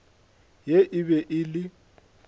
ye e be e le